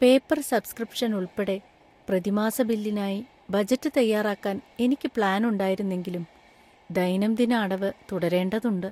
Paper‍ subscription ഉൾപ്പെടെ പ്രതിമാസ ബില്ലിനായി ബജറ്റ് തയ്യാറാക്കാൻ എനിക്ക് പ്ലാന്‍ ഉണ്ടായിരുന്നെങ്കിലും ദൈനംദിന അടവ് തുടരേണ്ടതുണ്ട്.